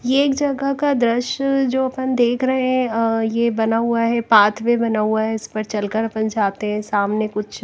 यह एक जगह का दृश्य जो अपन देख रहे हैं आह यह बना हुआ है पाथवे बना हुआ है इस पर चलकर अपन जाते हैं सामने कुछ--